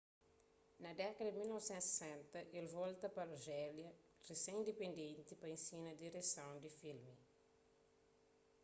na dékada di 1960 el volta pa arjélia risén-indipendenti pa enxina direson di filmi